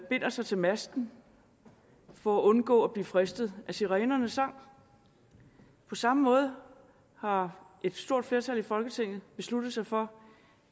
binder sig til masten for at undgå at blive fristet af sirenernes sang på samme måde har et stort flertal i folketinget besluttet sig for